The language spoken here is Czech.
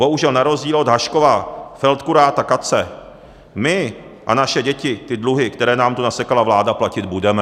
Bohužel na rozdíl od Haškova feldkuráta Katze my a naše děti ty dluhy, které nám tu nasekala vláda, platit budeme.